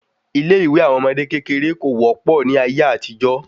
Ilé ìwé àwọn ọmọdé kékeré kò wọ́pọ̀ ní ayé àtijó